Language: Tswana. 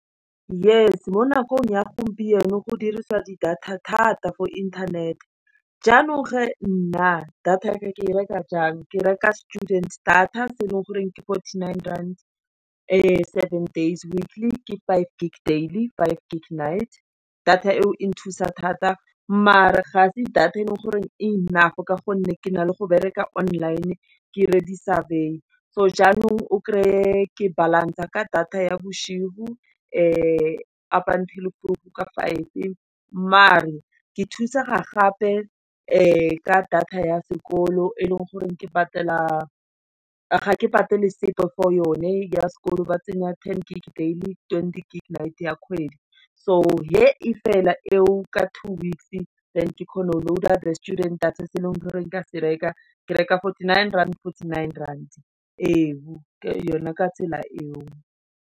Yes, mo nakong ya gompieno go dirisiwa di data thata for internet-e, jaanong ge, nna, data ya ka, ke reka jang, ke reka student data, se e leng goreng ke fourty-nine rand seven days weakly, ke five gig daily, five g night. Data eo e nthusa thata mare ga se data e leng gore enough ka gonne ke na le go bereka online-e ke dire di savoir, so jaanong o kre-e ke balance-e ka data ya bosigo, up until ka five-e, mare ke thusega gape, ka data ya sekolo e leng goreng ga ke patele sepe for yone ya sekolo ba tsenya ten gig daily, twenty gig night, ya kgwedi, so he e fela eo ka two weeks than ke kgona go loader students data e se e leng gore ke a se reka. Ke reka fourty-nine rand-fourty nine-rand, e bu ka yona ka tsela e o.